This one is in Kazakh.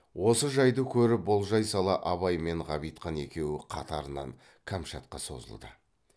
осы жайды көріп болжай сала абай мен ғабитхан екеуі қатарынан кәмшатқа созылды